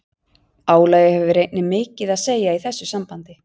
Álagið hefur einnig mikið að segja í þessu sambandi.